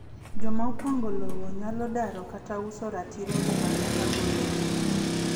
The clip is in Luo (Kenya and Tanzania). Joma opango lowo nyalo daro kata uso ratirogi mag pango lowo.